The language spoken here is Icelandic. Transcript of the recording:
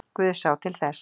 Guð sá til þess